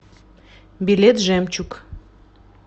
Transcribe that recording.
билет жемчуг